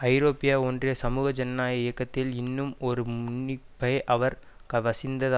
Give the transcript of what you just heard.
ஐரோப்பிய ஒன்றிய சமூக ஜனநாயக இயக்கத்தில் இன்னும் ஒரு முன்னிப்பை அவர் வசித்த